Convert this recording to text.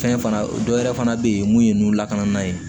Fɛn fana dɔ wɛrɛ fana bɛ ye mun ye ninnu lakana yen